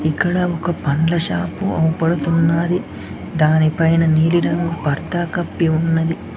ఇక్కడ ఒక పండ్ల షాపు అవుపడుతున్నాది దాని పైన నీలి రంగు పర్దా కప్పి ఉన్నది.